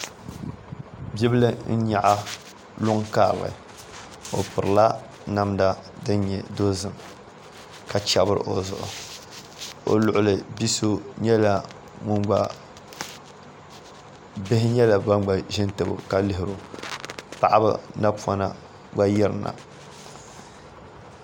Bia bil n nyaɣa luŋ karili o pirila namda din nyɛ dozim ka chɛbiri o zuɣu o luɣuli ni bihi nyɛla ban gba ʒi n tabo ka lihiro paɣaba napona gba yirina